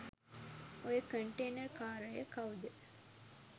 ඔය කන්ටේනර් කාරය කවුද